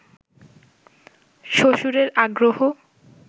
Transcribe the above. শ্বশুরের আগ্রহ